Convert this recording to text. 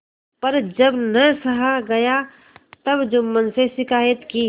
पर जब न सहा गया तब जुम्मन से शिकायत की